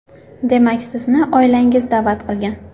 Demak, sizni oilangiz da’vat qilgan?